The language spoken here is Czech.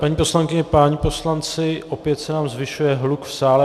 Paní poslankyně, páni poslanci, opět se nám zvyšuje hluk v sále.